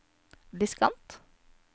diskant